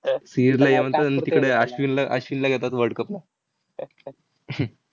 तिकडे अश्विनला अश्विनला घेतात world cup ला.